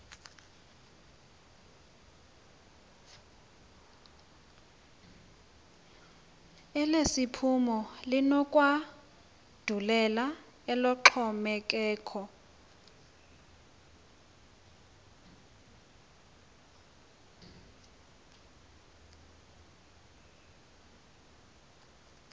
elesiphumo linokwandulela eloxhomekeko